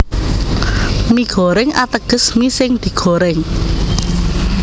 Mie Goreng ateges mi sing digorèng